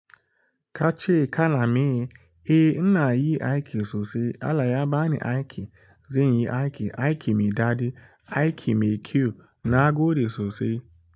Ka ce ka na me? Eh, ina yi aiki sosai. Allah ya ba ni aiki, zan yi aiki. Aiki mai daɗi, aiki mai kyau, na gode sosai.